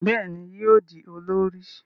Béèni yóò di olórí.